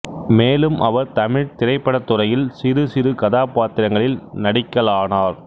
மேலும் அவர் தமிழ் திரைப்படத்துறையில் சிறு சிறு கதாபாத்திரங்களில் நடிக்கலானார்